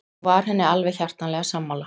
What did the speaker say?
Og var henni alveg hjartanlega sammála.